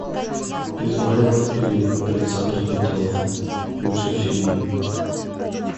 измайлов или александр петров лучшие фильмы